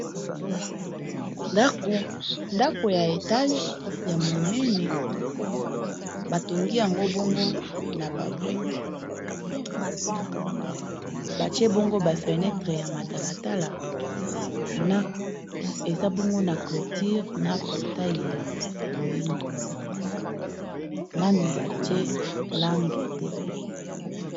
ndako ya etage ya monene batongi yango bongo na babrek batie bongo bafenetre ya matalatala eza bongo na cloture na portai ya rohindo nanu batie lange te